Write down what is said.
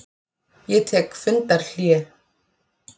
Ég tek fundarhlé.